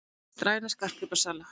Hugðist ræna skartgripasala